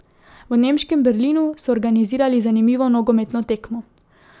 V nemškem Berlinu so organizirali zanimivo nogometno tekmo.